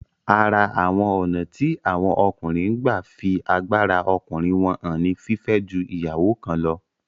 Ara àwọn ònà tí àwọn ọkùnrin n gba fí agbára ọkùnrin wọ́n hàn ni fífẹ́ ju ìyàwó kan lọ